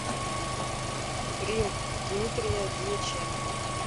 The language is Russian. грин дмитрия дьяченко